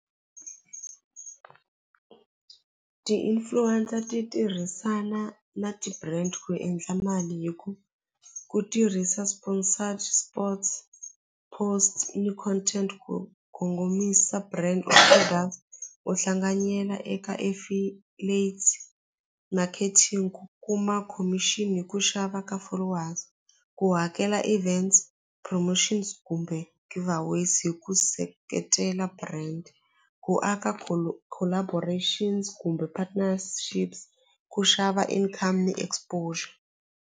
Ti-influencer ti tirhisana na ti-brand ku endla mali hi ku ku tirhisa sponsored sports, post ni content kongomisa brand u tlhela u hlanganyela eka marketing ku kuma khomixini hi ku xava ka followers ku hakela events promotions kumbe give aways hi ku seketela brand ku aka collaborations kumbe partnerships ku xava income ni exposure.